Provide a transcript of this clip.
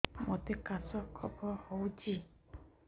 ମୋତେ କାଶ କଫ ହଉଚି